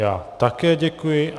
Já také děkuji.